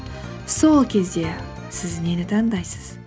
сол кезде сіз нені таңдайсыз